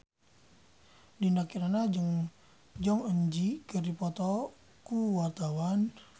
Dinda Kirana jeung Jong Eun Ji keur dipoto ku wartawan